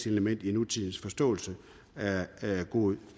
element i nutidens forståelse af god